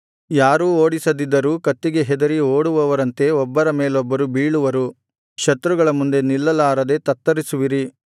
ಯಾರೂ ಓಡಿಸದಿದ್ದರೂ ಕತ್ತಿಗೆ ಹೆದರಿ ಓಡುವವರಂತೆ ಒಬ್ಬರ ಮೇಲೊಬ್ಬರು ಬೀಳುವರು ಶತ್ರುಗಳ ಮುಂದೆ ನಿಲ್ಲಲಾರದೆ ತತ್ತರಿಸುವಿರಿ